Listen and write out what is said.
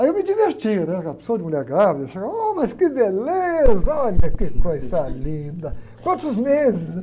Aí eu me diverti, né? Era uma porção de mulher grávida, eu chegava, mas que beleza, olha que coisa linda, quantos meses?